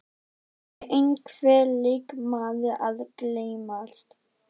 Er einhver leikmaður að gleymast?